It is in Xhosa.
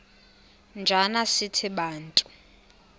njana sithi bantu